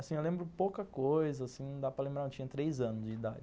Assim, eu lembro pouca coisa, assim, não dá para lembrar, eu tinha três anos de idade.